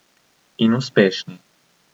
In uspešni.